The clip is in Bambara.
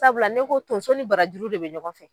Sabula ne ko tonso ni barajuru de bɛ ɲɔgɔn fɛ.